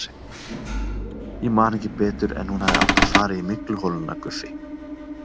Ég man ekki betur en hún hafi átt að fara í mygluholuna Guffi?